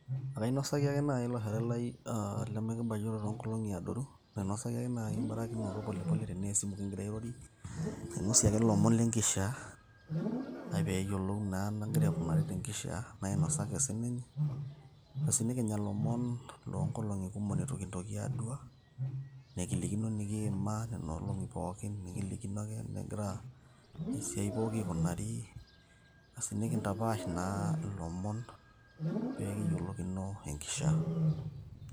Ekainosaki ake nai ilo shore lai ah limikibayioro toonkolong'i adoru, nainosaki ake nai ebarakinoto polepole tenaa esimu kigira airorie, nainosie ake lomon lenkishaa, nai peyiolou nai enagira aikunari tenkishaa, nainosaki sininye. Basi nikinya lomon lonkolong'i kumok litu kintoki adua, nikilikino nikiima nena olong'i pookin, nikilikino ake enegira esiai pooki aikunari. Asi nikintapaash naa ilomon pekiyiolokino enkishaa.